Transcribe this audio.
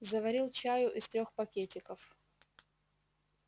заварил чаю из трёх пакетиков